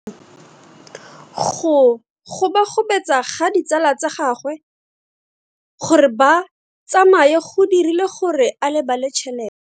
Go gobagobetsa ga ditsala tsa gagwe, gore ba tsamaye go dirile gore a lebale tšhelete.